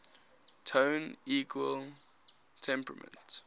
tone equal temperament